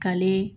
K'ale